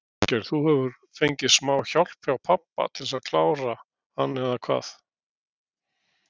Þorgeir: Þú hefur fengið smá hjálp hjá pabba til að klára hann eða hvað?